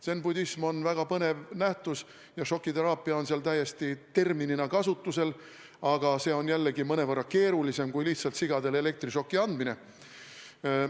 Zen-budism on väga põnev nähtus ja šokiteraapia on seal täiesti terminina kasutusel, aga see on jällegi mõnevõrra keerulisem kui lihtsalt sigadele elektrišoki andmine.